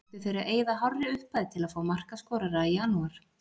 Ættu þeir að eyða hárri upphæð til að fá markaskorara í janúar?